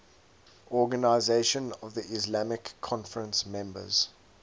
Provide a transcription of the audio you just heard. organisation of the islamic conference members